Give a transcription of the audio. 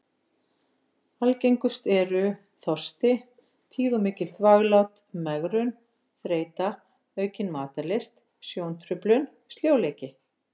Algengust eru: þorsti, tíð og mikil þvaglát, megrun, þreyta, aukin matarlyst, sjóntruflun, sljóleiki.